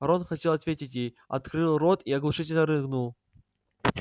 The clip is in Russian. рон хотел ответить ей открыл рот и оглушительно рыгнул